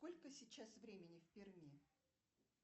сколько сейчас времени в перми